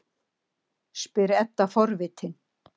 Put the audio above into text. spyr Edda forvitin.